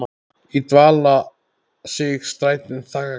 í dvala sig strætin þagga.